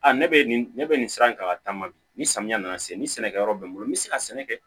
Aa ne bɛ nin ne bɛ nin sira in kan ka taama bi ni samiya nana se ni sɛnɛkɛ yɔrɔ bɛ n bolo n bɛ se ka sɛnɛ kɛ